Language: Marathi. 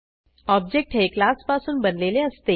ऑब्जेक्ट हे क्लास पासून बनलेले असते